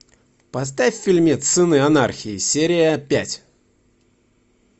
поставь фильмец сыны анархии серия пять